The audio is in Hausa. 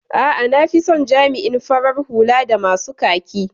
A'a, nafison jami'in farar hula da masu kaki.